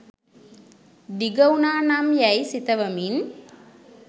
දිග වුනා නම් යැයි සිතවමින්